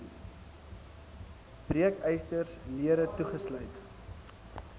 breekysters lere toegesluit